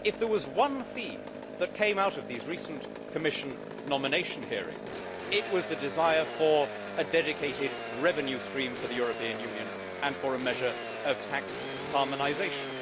If there was one theme which came out of these recent Commission nomination hearings, it was the desire for a dedicated revenue stream for the European Union and for a measure of tax harmonisation.